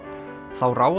þá ráfaði